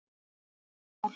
Eitt mál.